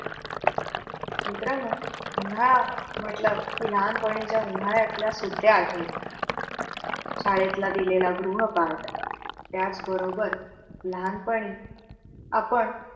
मित्रांनो उन्हाळा म्हंटल की, लहानपणीच्या उन्हाळ्यातल्या सुट्टया आठवतात. शाळेतला दिलेला गृहपाठ त्याच बरोबर लहानपणी आपण